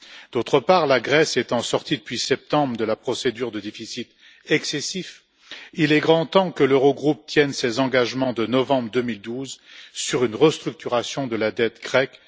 D'autre part, la Grèce étant sortie depuis septembre de la procédure de déficit excessif, il est grand temps que l'Eurogroupe tienne ses engagements de novembre 2012 en matière de restructuration de la dette grecque.